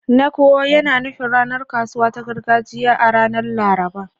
"Nkwo" yana nufin ranar kasuwa ta gargajiya a ranar Laraba.